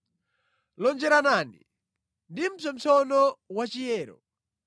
Lonjeranani ndi mpsopsono wachiyero.